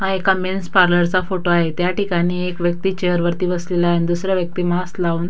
हा एका men's parlour चा फोटो आहे त्याठिकाणी एक व्यक्ती चेअर वरती बसलेला आहे आणि दुसरा व्यक्ती चेहऱ्यावर मास्क लावून--